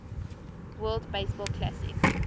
world baseball classic